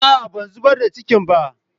A'a ban zubar da cikin ba.